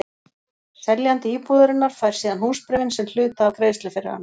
Seljandi íbúðarinnar fær síðan húsbréfin sem hluta af greiðslu fyrir hana.